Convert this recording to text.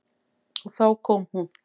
Og þá kom hún.